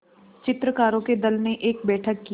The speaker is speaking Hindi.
चित्रकारों के दल ने एक बैठक की